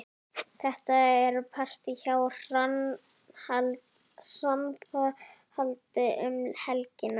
Það er partí hjá Hrafnhildi um helgina.